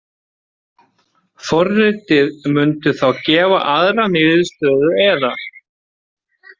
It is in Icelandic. Forritið mundi þá gefa aðra niðurstöðu eða.